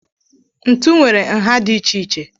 Ntu nwere nha dị iche iche.